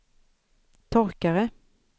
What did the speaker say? torkare